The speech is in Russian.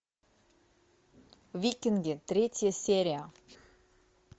викинги третья серия